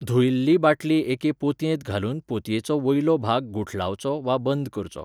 धुयल्ली बाटली एके पोतयेंत घालून पोतयेचो वयलो भाग गुठलावचो वा बंद करचो.